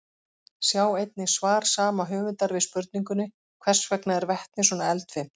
Sjá einnig svar sama höfundar við spurningunni Hvers vegna er vetni svona eldfimt?